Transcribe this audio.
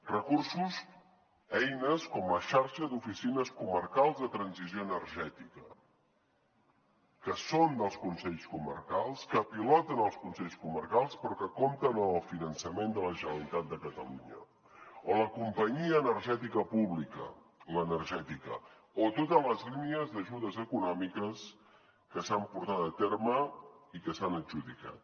recursos eines com la xarxa d’oficines comarcals de transició energètica que són dels consells comarcals que piloten els consells comarcals però que compten amb el finançament de la generalitat de catalunya o la companyia energètica pública l’energètica o totes les línies d’ajudes econòmiques que s’han portat a terme i que s’han adjudicat